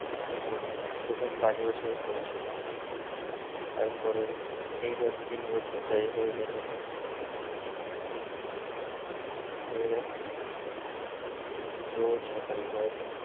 কি বলবো, প্রথম পাঁচ বছর পড়াশোনা তারপরে এই ধর তিন বছর প্রায় হয়ে গেল মানে ভেবে দেখ রোজ সকালে হয়